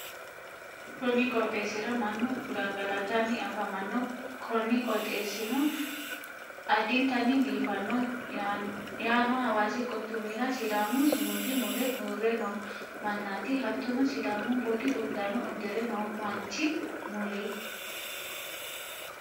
konni qooxxeessira mannu gangalatanni afamanno, kuni qooxeessino addintanni biifannoho, yaano hawaasi quchumi'ra sidaamu sumudi mule uurre no mannaati, hattono sidaamu budi uddano uddire no manchi mule.